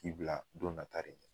K'i bila don na ta de ɲɛ